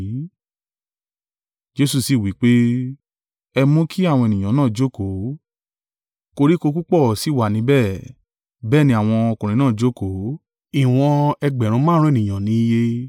Jesu sì wí pé, “Ẹ mú kí àwọn ènìyàn náà jókòó!” Koríko púpọ̀ sì wá níbẹ̀. Bẹ́ẹ̀ ni àwọn ọkùnrin náà jókòó; ìwọ̀n ẹgbẹ̀rún márùn-ún (5,000) ènìyàn ní iye.